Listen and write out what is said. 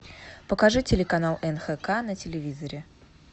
покажи телеканал нхк на телевизоре